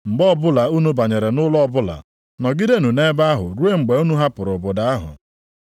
Mgbe ọbụla unu banyere nʼụlọ ọbụla, nọgidenụ nʼebe ahụ ruo mgbe unu hapụrụ obodo ahụ.